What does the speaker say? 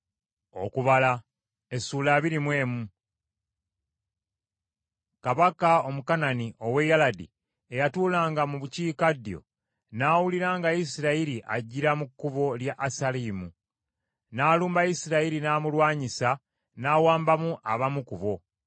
Kabaka Omukanani ow’e Yaladi eyatuulanga mu bukiikaddyo, n’awulira nga Isirayiri ajjira mu kkubo lya Asalimu, n’alumba Isirayiri n’amulwanyisa n’awambamu abamu ku bo.